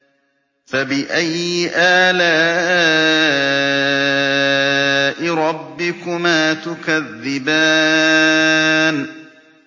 فَبِأَيِّ آلَاءِ رَبِّكُمَا تُكَذِّبَانِ